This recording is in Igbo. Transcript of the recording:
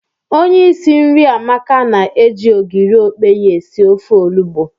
Onye isi nri Amaka na-eji ogiri okpe esi ofe olugbo.